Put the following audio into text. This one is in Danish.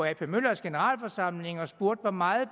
ap møllers generalforsamling og spurgte hvor meget